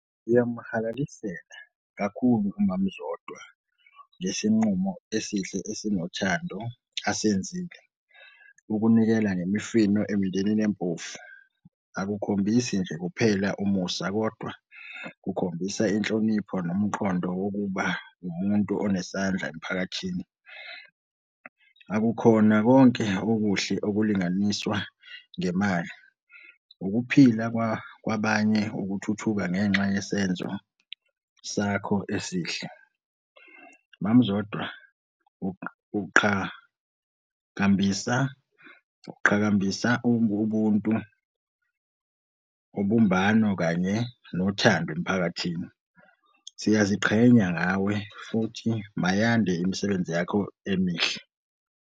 Ngiyamuhalalisela kakhulu umama uZodwa ngesinqumo esihle esinothando asenzile ukunikela ngemifino emindenini empofu. Akukhombisi nje kuphela umusa kodwa kukhombisa inhlonipho nomqondo wokuba ngumuntu onesandla emphakathini. Akukhona konke okuhle okulinganiswa ngemali, ukuphila kwabanye, ukuthuthuka ngenxa yesenzo sakho esihle. Mama uZodwa uqhakambisa uqhakambisa ubuntu, ubumbano kanye nothando emphakathini. Siyaziqhenya ngawe futhi mayande imisebenzi yakho emihle.